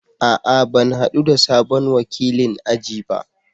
A'a! Ban hadu da sabon wakilin aji ba.